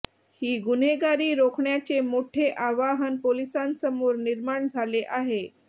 ही गुन्हेगारी रोखण्याचे मोठे आव्हान पोलिसांसमोर निर्माण झाले आहे